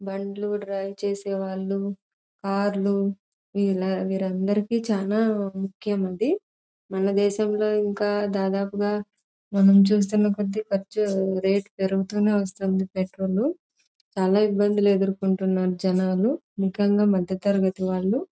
బండ్లు డ్రైవ్ చేసే వాళ్ళు కార్లు వీరు వీరందరికి చాల ముఖ్యం అంది మన దేశంలో ఇంకా దాదాపు గ మనం చూస్తున కొద్దీ ఖర్చు రేట్ పెరుగుతూనే వస్తుంది పెట్రోలు చాల ఇబంధులు ఎదురుకుతున్నారు జనాలు ముఖ్యగా మధ్య తరగతి వాళ్ళు.